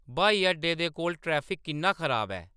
ब्हाई अड्डे दे कोल ट्रैफिक किन्ना खराब ऐ